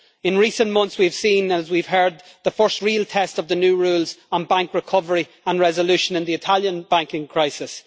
In recent months, we have seen and heard the first real test of the new rules on bank recovery and resolution in the Italian banking crisis.